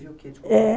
é